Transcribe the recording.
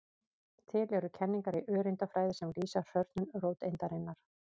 Til eru kenningar í öreindafræði sem lýsa hrörnun róteindarinnar.